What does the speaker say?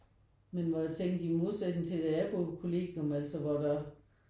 Men hvor jeg tænkte i modsætning til da jeg boede på kollegium altså hvor der var